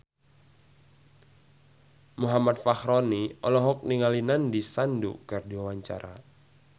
Muhammad Fachroni olohok ningali Nandish Sandhu keur diwawancara